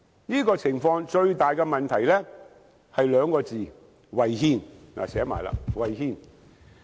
這個情況最大的問題是兩個字——違憲，我已寫出來。